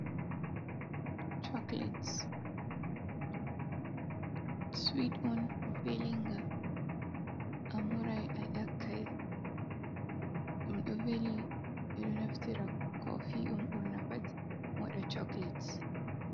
Choklates swet’on velinga, amurai a yakkai ɗom ɗo veli ɗom ɗo naftira Kofi on ɓurna pat wada choklates.